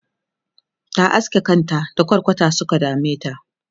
ta aske kanta da kwarkwata Suka dameta